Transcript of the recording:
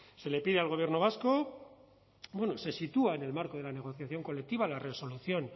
le pide al gobierno vasco bueno se sitúa en el marco de la negociación colectiva la resolución